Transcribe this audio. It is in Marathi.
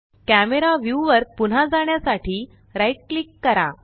कॅमरा व्यू वर पुन्हा जाण्यासाठी राइट क्लिक करा